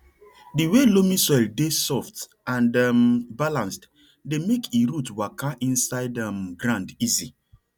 di way loamy soil dey soft and um balanced dey make e root waka inside um ground easy